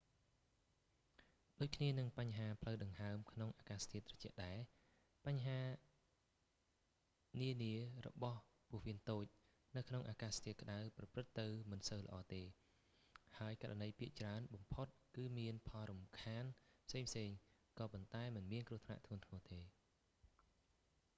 ដូចគ្នានឹងបញ្ហាផ្លូវដង្ហើមក្នុងអាកាសធាតុត្រជាក់ដែរ បញ្ហនានរបស់ពោះវៀនតូចនៅក្នុងអាកាសធាតុក្តៅប្រព្រឹត្តិទៅមិនសូវល្អ ទេ ហើយករណីភាគច្រើនបំផុតគឺមានផលរំខានផ្សេងៗគ្នា ក៏ប៉ុន្តែមិនមានគ្រោះថ្នាក់ធ្ងន់ធ្ងរទេ